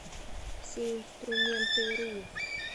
всеинструментыру